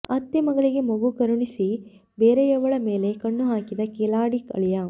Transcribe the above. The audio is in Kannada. ಅತ್ತೆ ಮಗಳಿಗೆ ಮಗು ಕರುಣಿಸಿ ಬೇರೆಯವಳ ಮೇಲೆ ಕಣ್ಣು ಹಾಕಿದ ಖಿಲಾಡಿ ಅಳಿಯ